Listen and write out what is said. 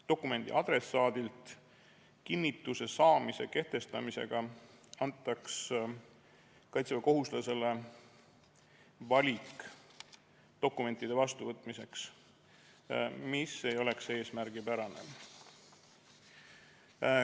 Dokumendi adressaadilt kinnituse saamise kehtestamisega antaks kaitseväekohustuslasele valik dokumentide vastuvõtmiseks, mis ei oleks eesmärgipärane.